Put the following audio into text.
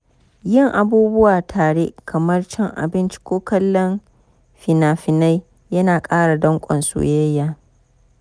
Yin abubuwa tare kamar cin abinci ko kallon fina-finai yana ƙara dankon soyayya.